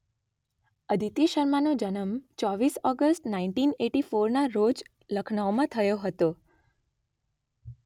અદિતિ શર્માનો જન્મ ૨૪ ઓગસ્ટ ૧૯૮૪નાં રોજ લખનૌમાં થયો હતો